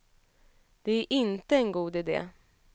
Det är inte en god idé.